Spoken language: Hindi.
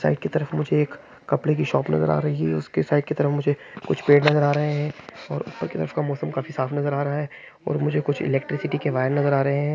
चाय की तरफ मुझे एक कपडे की शॉप नज़र आ रही है। उसके साइड के तरफ मुझे कुछ पेड़ नज़र आ रहे है। और ऊपर के तरफ का मौसम काफी साफ़ नज़र आ रहा है। और कुछ इलेक्ट्रिसिटी के वायर नज़र आ रहे है।